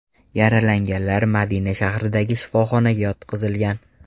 Yaralanganlar Madina shahridagi shifoxonaga yotqizilgan.